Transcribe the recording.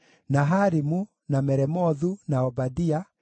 na Harimu, na Meremothu, na Obadia,